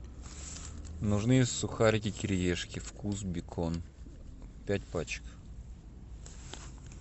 нужны сухарики кириешки вкус бекон пять пачек